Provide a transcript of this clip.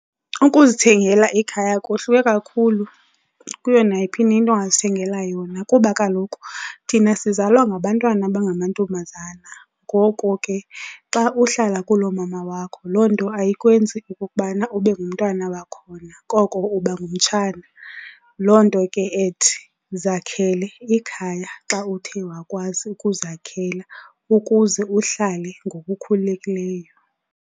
Ukuzithengela ikhaya kohluke kakhulu kuyo nayiphi na into ongazithengela yona. Kuba kaloku thina sizalwa ngabantwana abangamantombazana, ngoko ke xa uhlala kulomama wakho loo nto ayikwenzi okokubana ube ngumntwana wakhona koko uba ngumtshana. Loo nto ke ethi zakhele ikhaya xa uthe wakwazi ukuzakhela ukuze uhlale ngokukhululekileyo.